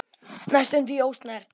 Næstum því ósnert.